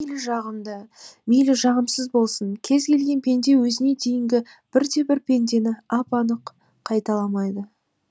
мейлі жағымды мейлі жағымсыз болсын кез келген пенде өзіне дейінгі бірде бір пендені ап анық қайталамайды